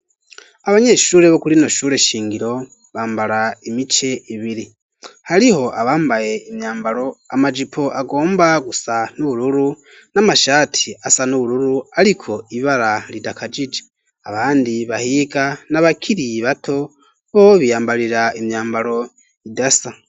Abanyeshule bokuri rino shure shingiro bambara imice ibiri hariho abambaye imyambaro amajipo agomba gusa n'ubururu n'amashati asa n' ubururu ariko ibara ridakajije abandi bahiga n'a bakiri bato bo biyambarira imyambaro idasa.